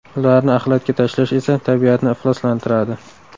Ularni axlatga tashlash esa tabiatni ifloslantiradi.